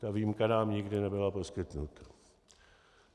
Ta výjimka nám nikdy nebyla poskytnuta.